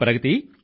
ప్రగతీ